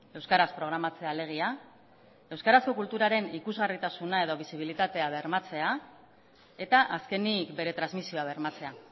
euskaraz programatzea alegia euskarazko kulturaren ikusgarritasuna edo bisibilitatea bermatzea eta azkenik bere transmisioa bermatzea